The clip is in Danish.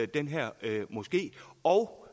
den her moské og